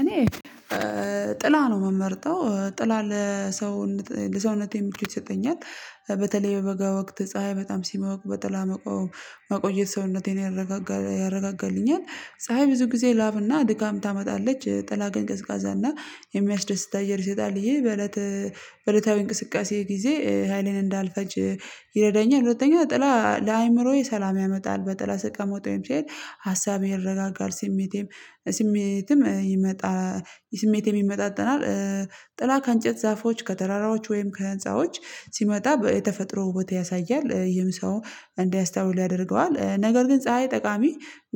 እኔ፣ ጥላ ነው የምመርጠው። ጥላ ለሰውነት ለሰውነቴ ምክት ይሰጠኛል። በተለይ በበጋ ወቅት፣ ፀሀይ በጣም ሲሞቅ፣ በጥላ መቆም መቆየት ሰውነቴን ያረጋጋል ያረጋጋልኛል። ፀሀይ ብዙ ጊዜ ላብና ድካም ታመጣለች። ጥላ ግን ቀዝቃዛና የሚያስደስት እየር ይሰጣል። ይሄ በእለት በእለታዊ እንቅስቃሴ ጊዜ ሀይሌን እንዳልፈጅ ይረዳኛል፤ ሁለተኛው ጥላ ለአእምሮዬ ሰላም ያመጣል። በጥላ ስቀመጥ ወይም ስሄድ ሀሳቤ ይረጋጋል። ስሜቴም ስሜትም ይመጣ ስሜቴም ይመጣጠናል። ጥላ ከእንጨት ዛፎች፣ ከተራራዎች፣ ወይም ከህንፃዎች ሲመጣ የተፈጥሮ ውበት ያሳያል። ይህም ሰው እንዲያስተውል ያደርገዋል። ነገር ግን ፀሀይ ጠቃሚ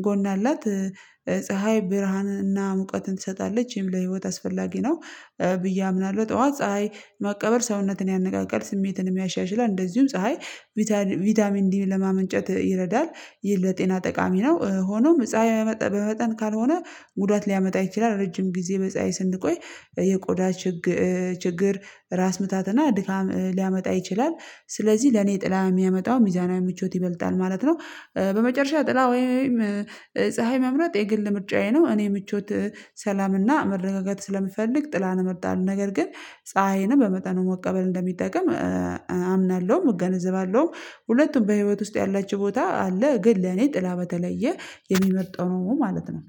ጎን አላት። ፀሀይ ብርሃንንና ሙቀትን ትሰጣለች። ይሄም ለህይወት አስፈላጊ ነው ብዬ አምናለሁ። ጠዋት ፀሀይ መቀበል ሰውነትን ያነቃቃል፣ ስሜትንም ያሻሽላል፣ እንደዚሁም ፀሀይ ቪታሚን ዲን ለማመንጨት ይረዳል፤ ይህ ለጤና ጠቃሚ ነው። ሆኖም ፀሀይ በመጠን ካልሆነ ጉዳት ሊያመጣ ይችላል። ረጅም ጊዜ በፀሀይ ስንቆይ የቆዳ ችግር፣ ራስ ምታትና ድካም ሊያመጣ ይችላል። ስለዚህ ለኔ ጥላ የሚያመጣው ሚዛናዊ ምቾት ይበልጣል ማለት ነው። በመጨረሻ ጥላ ወይም ፀሀይ መምረጥ የግል ምርጫዬ ነው። እኔ ምቾት ሰላምና መረጋጋት ስለምፈልግ ጥላን እመርጣለሁ። ነገር ግን ፀሀይንም በመጠኑ መቀበል እንደሚጠቅም አምናለሁም፣ እገነዘባለሁም፣ ሁለቱም በህይወት ውስጥ ያላቸው ቦታ አለ። ግን ለኔ ጥላ በተለየ የሚመርጠው ነው ማለት ነው።